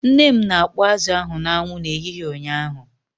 Nne m na-akpọ azụ ahụ n'anwụ n'ehihie ụnyaahụ.